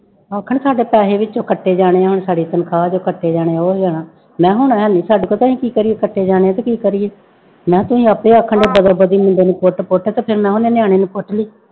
ਆਖਣ ਸਾਡੇ ਪੈਸੇ ਵਿੱਚੋਂ ਕੱਟੇ ਜਾਣੇ ਹੈ ਹੁਣ ਸਾਡੀ ਤਨਖਾਹ ਚੋਂ ਕੱਟੇ ਜਾਣੇ ਆ ਉਹ ਜਾਣਾ, ਮੈਂ ਕਿਹਾ ਹੈ ਨੀ ਸਾਡੇ ਕੋਲ ਤੇ ਅਸੀਂ ਕੀ ਕਰੀਏ ਕੱਟੇ ਜਾਣੇ ਆਂ ਤਾਂ ਕੀ ਕਰੀਏ, ਮੈਂ ਕਿਹਾ ਤੁਸੀਂ ਆਪੇ ਆਖਣ ਮੁੰਡੇ ਨੂੰ ਪੁੱਟ ਪੁੱਟ ਫਿਰ ਉਹਨੇ ਨਿਆਣੇ ਨੂੰ ਪੁੱਟ ਲਈ।